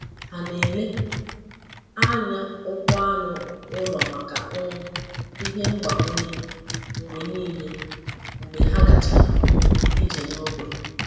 Ha na-ele anya ụkwụ anụ ụlọ maka um ihe mgbakwunye mgbe niile mgbe ha gachara um ije n’ógbè.